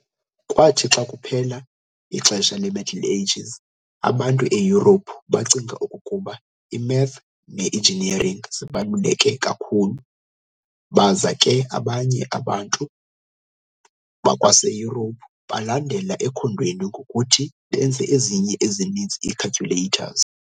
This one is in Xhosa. Kwathi xa kuphela ixesha le-Middle Ages, abantu eYurophu bacinga okokuba i-math ne-engineering zibaluleke kakhulu. Baza ke abanye abantu bakwaseyurophu balandela ekhondweni ngokuthi benze ezinye ezininzi ii-calculators.